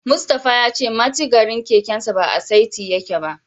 Mustapha ya ce mitigarin kekensa ba a saiti yake ba.